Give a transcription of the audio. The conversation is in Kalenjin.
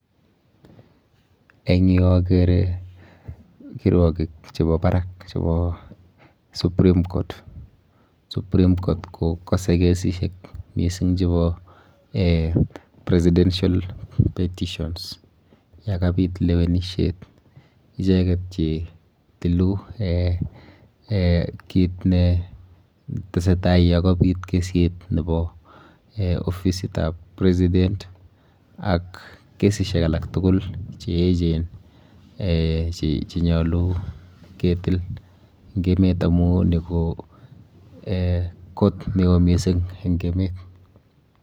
Eng yu akere kirwokik chepo barak chepo supreme court. Supreme court kokose kesishek mising chepo eh presisential petitions yokapit lewenishet icheket chetilu eh kit ne tesetai yokabit kesit nepo ofisitap president ak kesishek alak tugul cheechen eh chenyolu ketil eng emet amu ni ko court neo mising eng emet.